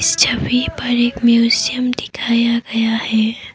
इस छवि पर एक म्यूजियम दिखाया गया है।